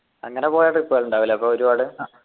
അങ്ങനെ പോയ trip കൾ ഉണ്ടാവും അല്ലെ അപ്പൊ ഒരുപാട്